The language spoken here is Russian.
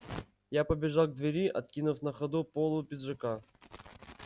я побежал к двери откинув на ходу полу пиджака